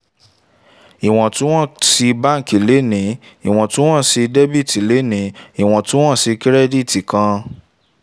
iwọntún-wọnsì báǹkì le ní iwọntún-wọnsì dẹ̀bítí tàbí iwọntún-wọnsì kírẹ́dìtì kan